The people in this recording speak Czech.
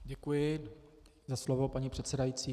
Děkuji za slovo, paní předsedající.